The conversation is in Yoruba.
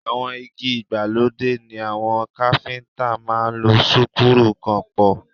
Àwọn igi ìgbàlódé ni àwọn káfíntà máa ń lo súkúrù kàn pọ̀.